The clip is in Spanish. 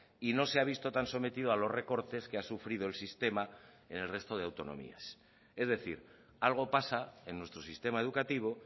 y no se ha visto tan sometido a los recortes que ha sufrido el sistema en el resto de autonomías es decir algo pasa en nuestro sistema educativo